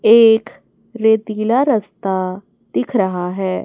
एक रेतीला रस्ता दिख रहा है।